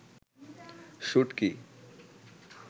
শুটকি